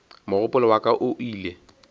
mogopolo wa ka o ile